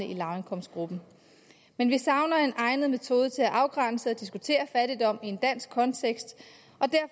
i lavindkomstgruppen men vi savner en egnet metode til at afgrænse og diskutere fattigdom i en dansk kontekst